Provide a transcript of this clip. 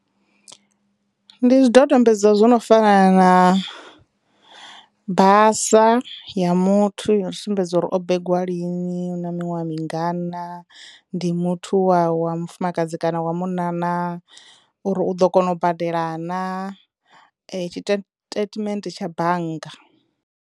Ndi zwidodombedzwa zwo no fana na basa ya muthu yo sumbedza uri o mmbengwa lini, u na miṅwaha mingana, ndi muthu wa wa mufumakadzi kana wa munna naa, uri u ḓo kona u badela naa tshitetimende tsha bannga.